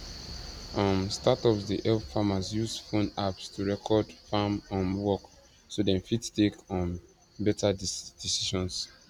um startups dey help farmers use phone apps to record farm um work so dem fit take um better decisions